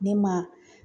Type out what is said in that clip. Ne ma